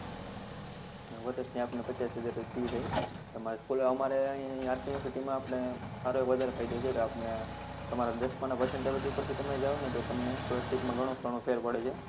અને વર્ષની આપણને પચાસ હજાર fees છે અમારે અહી RK university આપણે સારો આવો વધારે ફાયદો છેકે આપણને તમારા દસમાં ના percentage ઉપર તમે જાઓતો તમને scholarship ઘણો ઘણો ફેર પડે છે